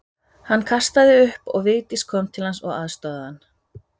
Hann kastaði upp og Vigdís kom til hans og aðstoðaði hann.